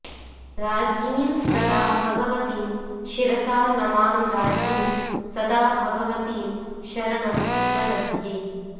राज्ञीं सदा भगवतीं शिरसा नमामि राज्ञीं सदा भगवतीं शरणं प्रदद्ये